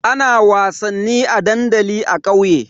Ana wasannin a dandali a kauye.